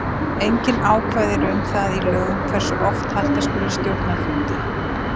Engin ákvæði eru um það í lögum hversu oft halda skuli stjórnarfundi.